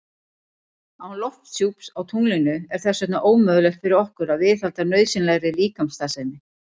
Án lofthjúps á tunglinu er þess vegna ómögulegt fyrir okkur að viðhalda nauðsynlegri líkamsstarfsemi.